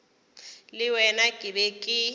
le wena ke be ke